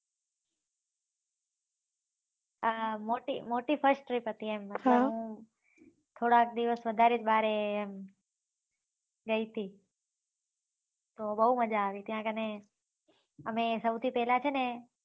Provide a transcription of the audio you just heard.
મોટી first trip હતી થોડાક દિવસ વધારે ભાહર એમ રહી થી બહુ મજા આયી ત્યાં આગને અમે સૌથી પેહલા છે ને